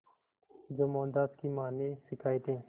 जो मोहनदास की मां ने सिखाए थे